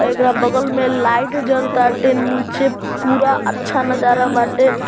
अ एकरा बगल में लाइट जल ताटे निचे पूरा अच्छा नजारा बाटे।